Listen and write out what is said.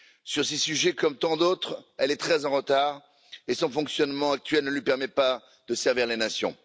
Sur ces sujets comme sur tant d'autres, elle est très en retard et son fonctionnement actuel ne lui permet pas de servir les nations.